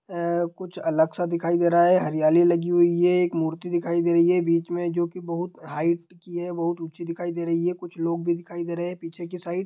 कुछ अलग सा दिखाई दे रहा है| हरियाली लगी हुई है एक मूर्ति दिखाई दे रही है | बीच में जो की बहुत हाईट की है बहुत ऊँची दिखाई दे रही है | कुछ लोग भी दिखाई दे रहे है पीछे की साइड ।